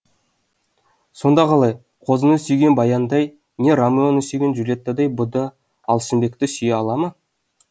сонда қалай қозыны сүйген баяндай не ромеоны сүйген джульеттадай бұ да алшынбекті сүйе ала ма